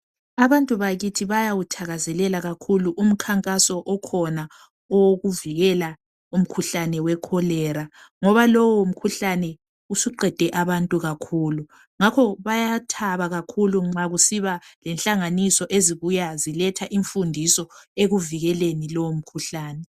Abantu bakithi bayawuthakazela umkhankaso okhona wokuvikela ukhuhlane wecholera ngoba lowo mkhuhlane usuqede abantu kakhulu ngakho bayathaba kakhulu nxa kusiba lenhlanganiso ezibuya ziletha imfundiso ekuvikeleni lowu mkhuhlane